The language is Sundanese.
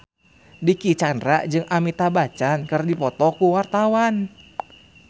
Dicky Chandra jeung Amitabh Bachchan keur dipoto ku wartawan